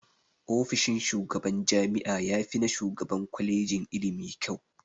Ofishin shugaban jami'a yafi na shugaban kwalejin ilimi kyau.